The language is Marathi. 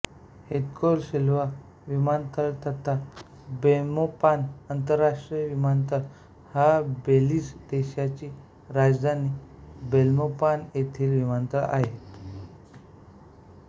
हेक्तोर सिल्वा विमानतळ तथा बेल्मोपान आंतरराष्ट्रीय विमानतळ हा बेलीझ देशाची राजधानी बेल्मोपान येथील विमानतळ आहे